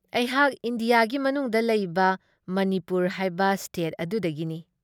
ꯑꯩꯍꯥꯛ ꯏꯟꯗꯤꯌꯥꯒꯤ ꯃꯅꯨꯡꯗ ꯂꯩꯕ ꯃꯅꯤꯄꯨꯔ ꯍꯥꯏꯕ ꯁ꯭ꯇꯦꯠ ꯑꯗꯨꯗꯒꯤꯅꯤ ꯫